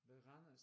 Ved Randers